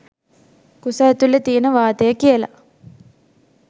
කුස ඇතුලෙ තියෙන වාතය කියල.